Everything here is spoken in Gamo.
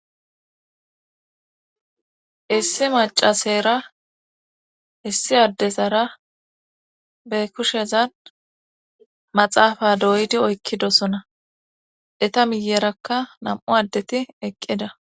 Issi macaseera issi addesara be kushezan maxaafa doyidi oykkidosona eta miyeerakka nam7u addeti eqqida.